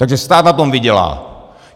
Takže stát na tom vydělá.